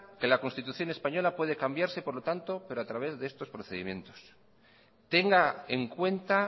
que la constitución española puede cambiarse por lo tanto pero a través de estos procedimientos tenga en cuenta